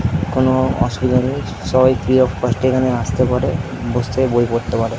কোনো অসবিধা নেই সবাই ফ্রী অফ কষ্ট এ এখানে আসতে পারে বই পড়তে পারে।